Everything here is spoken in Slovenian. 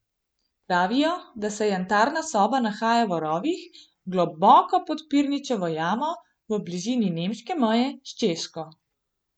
Pravijo, da se jantarna soba nahaja v rovih, globoko pod Prinčevo jamo v bližini nemške meje s Češko.